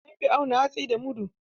An fi auna hatsi da mudu.